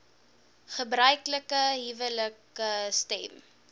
gebruiklike huwelike stem